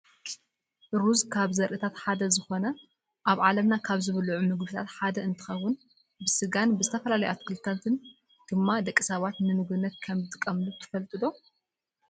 ሩዝ ካብ ዘርኢታት ሓደ ዝኮነ ኣብ ዓለምና ካብ ዝብልዑ ምግብታት ሓደ እንትከውን ብስጋን ብዝተፈላለዩ ኣትክልትታት ድማ ደቂ ሰባት ንምግብነት ከም ዝጥቀምሉ ትፈልጡ ዶ ?